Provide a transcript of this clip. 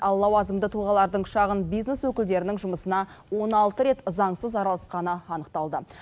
ал лауазымды тұлғалардың шағын бизнес өкілдерінің жұмысына он алты рет заңсыз араласқаны анықталды